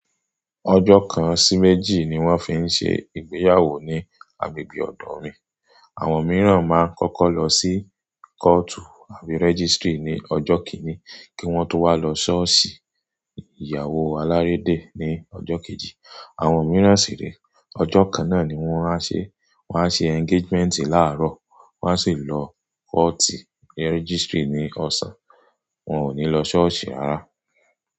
Ọjọ́ kan sí méjì ni wọ́n fi ń ṣe ìgbéyàwó ní agbègbè ọ̀dọ̀ mi. Àwọn mìíràn máa ń kọ́kọ́ lọ sí kóòtù àbí registry ní ọjọ́ kìíní kí wọ́n tó wá lọ ṣọ́ọ̀ṣì ìyàwó alárédè ní ọjọ́ kejì. Àwọn mìíràn sì ni ọjọ́ kan náà ni wọ́n á ṣe. Wọ́n á ṣe engagement láàárọ̀, wọ́n á sì lọ kóòtì registry ní ọ̀sán, wọn ò ní lọ ṣọ́ọ̀ṣì rara.